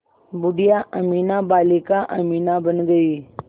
बूढ़िया अमीना बालिका अमीना बन गईं